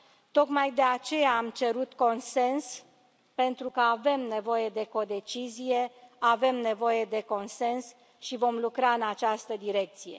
Tocmai de aceea am cerut consens, pentru că avem nevoie de codecizie, avem nevoie de consens și vom lucra în această direcție.